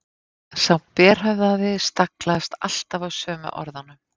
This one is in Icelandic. Sá berhöfðaði staglaðist alltaf á sömu orðunum